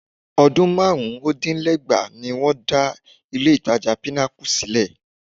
Ọdún márùn-úndínlẹ́gbàá ni wọ́n dá ilé-ìtajà Pinnacle sílẹ̀